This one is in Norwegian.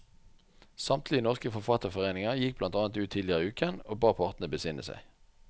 Samtlige norske forfatterforeninger gikk blant annet ut tidligere i uken og ba partene besinne seg.